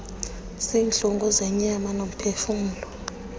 ziintlungu zenyama nomphefumlo